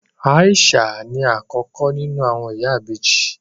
Aisha ní akọkọ nínú àwọn ìyàwó méjì.